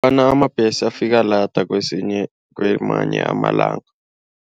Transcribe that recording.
Ngombana amabhesi afika lada kwamanye amalanga.